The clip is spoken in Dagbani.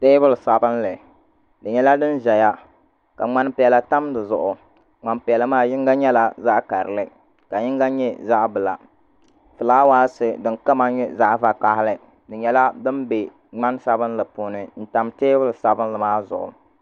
Teebuli sabinli di nyɛla din ʒɛya ka ŋmani piɛla tam di zuɣu ŋmani piɛla maa yinga nyɛla zaɣ karili ka yinga nyɛ zaɣ bila fulaawaasi din kama nyɛ zaɣ vakaɣili di nyɛla din bɛ ŋmani sabinli puuni n tam teebuli sabinlI maa zuɣu